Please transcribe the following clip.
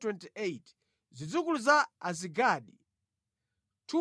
Zidzukulu za Azigadi 2,322